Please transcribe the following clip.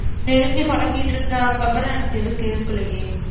நெடுங்கி பழகிட்டு இருந்தாங்க அப்புறம் எனக்கு எதுவும் கேக்கலையே.